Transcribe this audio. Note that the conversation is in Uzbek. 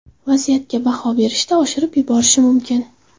Vaziyatga baho berishda oshirib yuborishi mumkin.